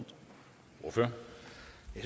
det